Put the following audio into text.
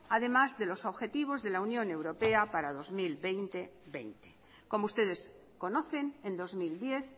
además de los objetivos de la unión europea para dos mil veinte veinte como ustedes conocen en dos mil diez